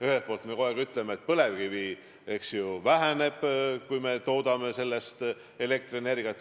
Ühelt poolt me kogu aeg räägime, et põlevkivi väheneb, kui me toodame sellest elektrienergiat.